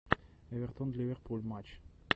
эвертон ливерпуль матч